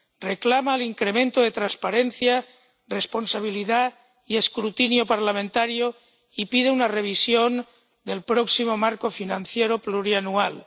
reclama el incremento de transparencia, responsabilidad y escrutinio parlamentario y pide una revisión del próximo marco financiero plurianual.